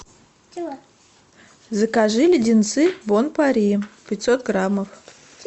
закажи леденцы бон пари пятьсот граммов